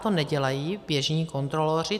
To nedělají běžní kontroloři.